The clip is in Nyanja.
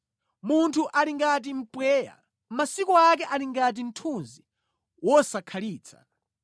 Munthu ali ngati mpweya; masiku ake ali ngati mthunzi wosakhalitsa.